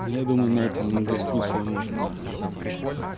я думаю на этом дискуссию можно закончить